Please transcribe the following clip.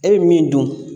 E bɛ min dun